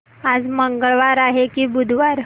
आज मंगळवार आहे की बुधवार